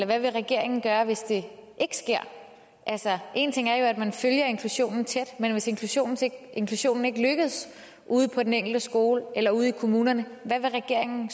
hvad vil regeringen gøre hvis det ikke sker altså man følger inklusionen tæt men hvis inklusionen inklusionen ikke lykkes ude på den enkelte skole eller ude i kommunerne hvad vil regeringen